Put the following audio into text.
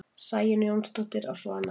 Sæunn Jónsdóttir á Svanavatni